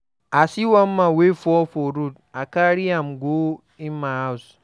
I see one man wey fall for road, I carry am go im house.